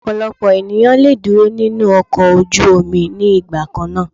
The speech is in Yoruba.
Ọ̀pọ̀lọpọ̀ ènìyàn le dúró nínú ọkọ̀ ojú omi ní ìgbà kannáà.